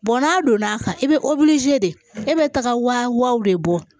n'a donn'a kan i bɛ de e bɛ taaga wa de bɔ